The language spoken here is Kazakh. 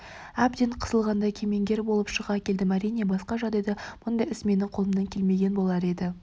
әбден қысылғанда кемеңгер болып шыға келдім әрине басқа жағдайда мұндай іс менің қолымнан келмеген болар еді